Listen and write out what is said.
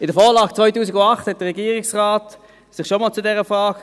Der Regierungsrat äusserte sich bei der Vorlage von 2008 schon einmal zu dieser Frage.